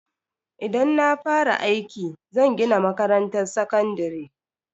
Idan na fara aiki, zan gina makarantar sakandare.